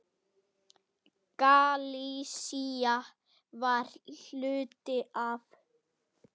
Galisía var hluti af